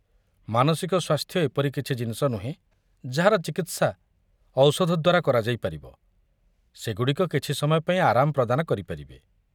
ମାନସିକ ସ୍ୱାସ୍ଥ୍ୟ ଏପରି କିଛି ଜିନିଷ ନୁହେଁ ଯାହାର ଚିକିତ୍ସା ଔଷଧ ଦ୍ୱାରା କରାଯାଇପାରିବ, ସେଗୁଡ଼ିକ କିଛି ସମୟ ପାଇଁ ଆରାମ ପ୍ରଦାନ କରିପାରିବେ।